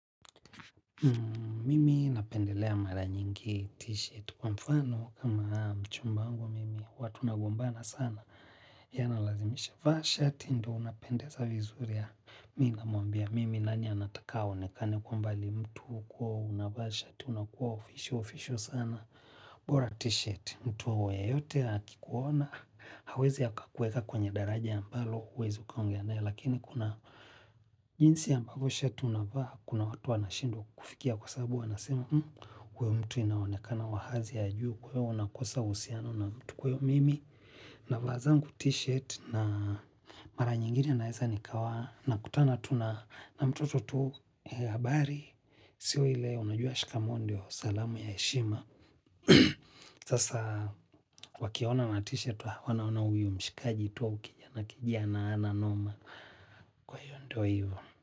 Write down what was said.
Mimi napendelea mara nyingi t-shirt kwa mfano kama mchumba wangu mimi huwa tunagombana sana ye analazimisha vaa shati ndio unapendeza vizuri mi namuambia mimi nani anataka aonekane kwamba ni mtu hukuwa unavaa shati unakuwa oficial oficial sana bora t-shirt, mtuwe yeyote akikuona hawezi akakuweka kwenye daraja ambalo huwezi ukaongea naye lakini kuna jinsi ambavyo shati unavaa kuna watu wanashindwa kukufikia kwa sababu wanasema huyo mtu inaonekana wa hadhi ya juu kwa hiyo unakosa uhusiano na mtu kwa hiyo mimi navaa zangu t-shirt na mara nyingine naeza nikawa nakutana tu na mtoto tu, habari sio ile unajua shikamoo ndio salamu ya heshima sasa wakiona una t-shirt wanaona huyu mshikaji tu au kijana kijana hana noma kwa hiyo ndio hivo.